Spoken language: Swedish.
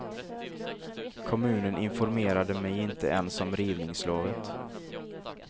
Kommunen informerade mig inte ens om rivningslovet.